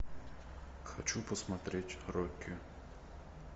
хочу посмотреть рокки